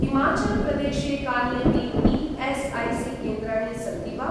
हिमाचलप्रदेशे कानि अपि ई.एस्.ऐ.सी.केन्द्राणि सन्ति वा?